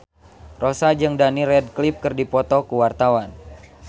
Rossa jeung Daniel Radcliffe keur dipoto ku wartawan